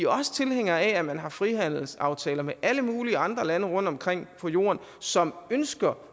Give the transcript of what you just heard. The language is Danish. også tilhængere af at man har frihandelsaftaler med alle mulige andre lande rundtomkring på jorden som ønsker